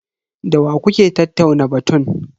Da wa kuka tattauna batun?